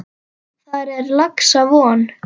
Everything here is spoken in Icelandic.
Þar er laxa von.